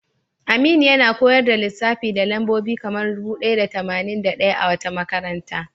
Aminu yana koyar da lissafi da lambobi kamar dubu ɗaya da tamanin da ɗaya a wata makaranta.